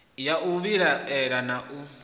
ya u vhilaela na u